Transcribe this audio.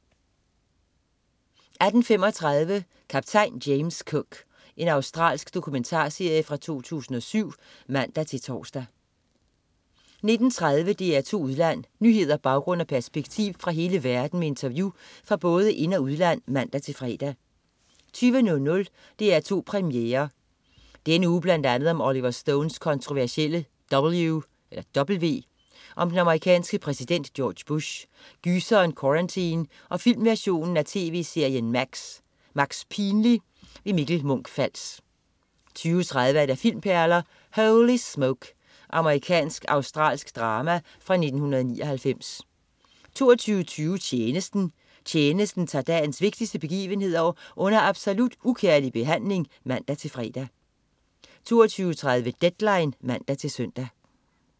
18.35 Kaptajn James Cook. Australsk dokumentarserie fra 2007 (man-tors) 19.30 DR2 Udland. Nyheder, baggrund og perspektiv fra hele verden med interview fra både ind- og udland (man-fre) 20.00 DR2 Premiere. Denne uge bl.a. om Oliver Stones kontroversielle "W" om den amerikanske præsident George Bush, gyseren "Quarantine" og filmversionen af tv-serien "Max", "Max Pinlig". Mikkel Munch-Fals 20.30 Filmperler: Holy Smoke. Amerikansk-australsk drama fra 1999 22.20 Tjenesten. Tjenesten tager dagens vigtigste begivenheder under absolut ukærlig behandling (man-fre) 22.30 Deadline (man-søn)